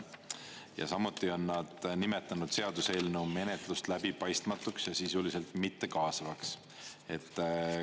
Ja samuti on nad nimetanud seaduseelnõu menetlust läbipaistmatuks ja sisuliselt mittekaasavaks.